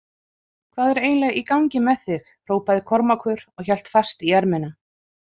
Hvað er eiginlega í gangi með þig hrópaði Kormákur og hélt fast í ermina.